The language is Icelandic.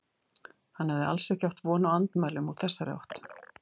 Hann hafði alls ekki átt von á andmælum úr þessari átt.